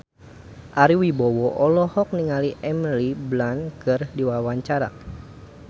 Ari Wibowo olohok ningali Emily Blunt keur diwawancara